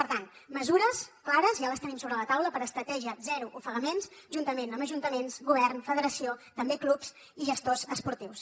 per tant mesures clares ja les tenim sobre la taula per a estratègia zero ofegaments juntament amb ajuntaments govern federació també clubs i gestors esportius